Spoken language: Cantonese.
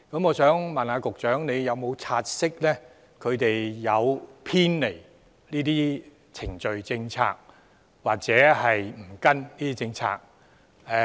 我想問，局長有否察悉他們曾偏離程序及政策，或沒有依循政策？